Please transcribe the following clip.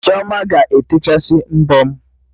Chioma ga-etechasị mbọ m